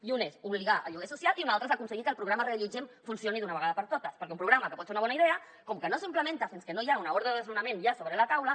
i un és obligar el lloguer social i un altre és aconseguir que el programa reallotgem funcioni d’una vegada per totes perquè un programa que pot ser una bona idea com que no s’implementa fins que no hi ha una ordre de desnonament ja sobre la taula